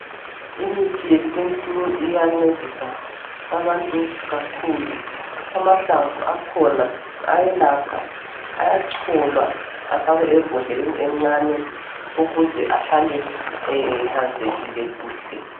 Imithi yesintu iyancedisa abantu kakhulu amahlamvu akhona ayelapha ayacholwa afakwe embodleleni encane ukuze ehlale ehlanzekile kuhle.